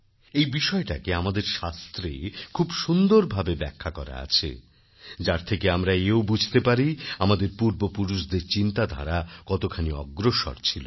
এই বিষয়টাকে আমাদের শাস্ত্রে খুব সুন্দর ভাবে ব্যাখ্যা করা আছে যার থেকে আমরা এও বুঝতে পারি আমাদের পূর্ব পুরুষদের চিন্তাধারা কতখানি অগ্রসর ছিল